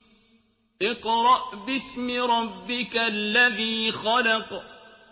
اقْرَأْ بِاسْمِ رَبِّكَ الَّذِي خَلَقَ